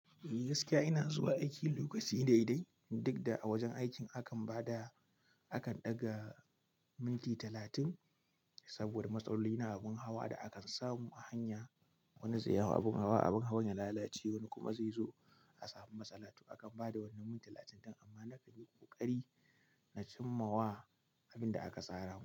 Gaskiya ina zuwa aiki lokaci daidai, duk da a wajen aikin akan ba da, akan ɗaga minti talatin saboda matsaloli na abin hawa da akan samu a hanya. Wani zai haw abin hawa, abin hawan ya lalace wani kuma zai zo a samu matsala. To akan ba da wannan minti talatin din amma na kan yi ƙoƙari na cimma wa abin da aka tsura wa.